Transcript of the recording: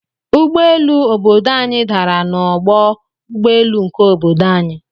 Ụgbọ elu obodo anyi dàrà na ọgbọ ụgbọelu nke obodo anyi.